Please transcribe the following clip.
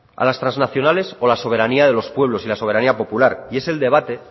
a las transnacionales o la soberanía de los pueblos la soberanía popular y es el debate